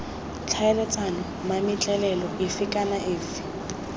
tlhaeletsana mametlelelo efe kana efe